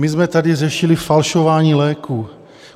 - My jsme tady řešili falšování léků.